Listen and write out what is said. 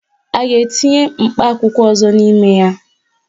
A ga-etinye mkpa akwụkwọ ọzọ n'ime ya?